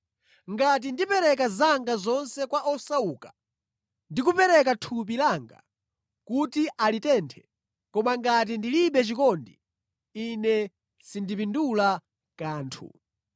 Ngati ndipereka zanga zonse kwa osauka ndi kupereka thupi langa kuti alitenthe, koma ngati ndilibe chikondi, ine sindipindula kanthu.